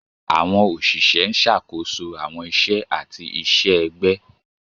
Àwọn òṣìṣẹ́ ń ṣàkóso àwọn iṣẹ́ àti iṣẹ́ ẹgbẹ́.